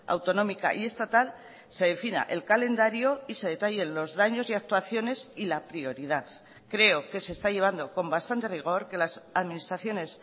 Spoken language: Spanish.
autonómica y estatal se defina el calendario y se detallen los daños y actuaciones y la prioridad creo que se está llevando con bastante rigor que las administraciones